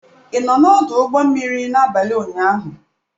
Ị nọ n'ọdụ ụgbọ mmiri n'abalị ụnyaahụ.